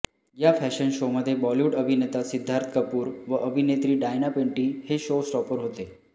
या फॅशन शोमध्ये बॉलिवूड अभिनेता सिद्धार्थ कपूर व अभिनेत्री डायना पेंटी हे शो स्टॉपर होते